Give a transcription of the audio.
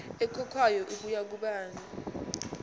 ekhokhwayo ibuya kubani